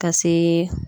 Ka se